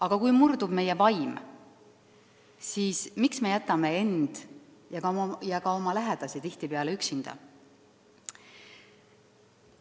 Aga kui murdub meie vaim, siis miks me jätame end ja ka oma lähedasi tihtipeale üksinda?